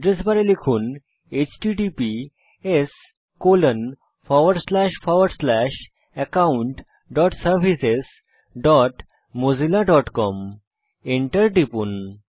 address বারে লিখুন httpsaccountservicesmozillacom Enter টিপুন